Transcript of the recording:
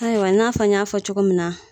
Ayiwa n'a fɔ n y'a fɔ cogo min na